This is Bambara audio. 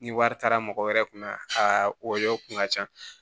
Ni wari taara mɔgɔ wɛrɛ kun na a yɔrɔ kun ka ca